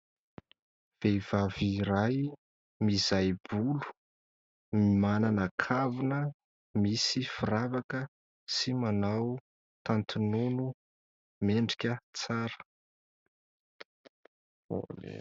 Vehivavy iray mizai-bolo manana kavina misy firavaka sy manao tanty nono mendrika tsara.